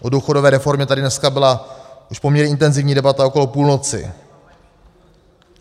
O důchodové reformě tady dneska byla již poměrně intenzivní debata okolo půlnoci.